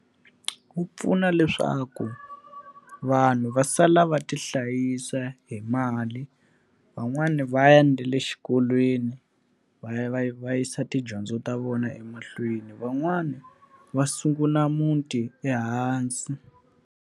Wu pfuna leswaku vanhu va sala va tihlayisa hi mali, van'wani va ya na le xikolweni va ya va va yisa tidyondzo ta vona emahlweni, van'wani va sungula muti ehansi.